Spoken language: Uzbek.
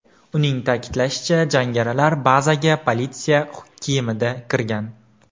Uning ta’kidlashicha, jangarilar bazaga politsiya kiyimida kirgan.